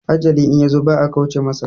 Ajali in yazo ba a kauce masa